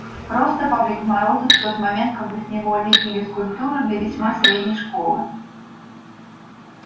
просто павлик морозов в тот момент когда с него лепили скульптуру для весьма средней школы